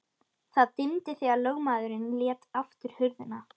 Það dimmdi þegar lögmaðurinn lét aftur hurðina.